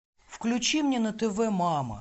включи мне на тв мама